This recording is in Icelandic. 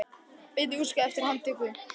Beint í útskrift eftir handtökuna